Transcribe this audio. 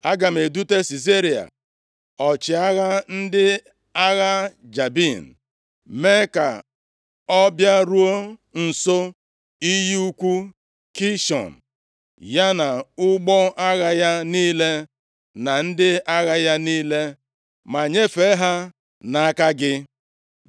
Aga m edute Sisera, ọchịagha ndị agha Jabin, mee ka ọ bịaruo nso iyi ukwu Kishọn, ya na ụgbọ agha ya niile na ndị agha ya niile ma nyefee ha nʼaka gị.’ ”